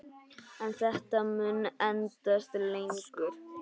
En þetta mun endast lengur.